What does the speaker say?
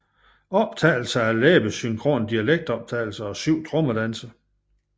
Optagelser af læbesynkrone dialektoptagelser og syv trommedanse